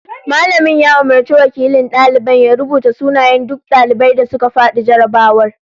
Mallamin ya umurci wakilin daliban ya rubuto sunayen duk daliban da suka fadi jarrabawar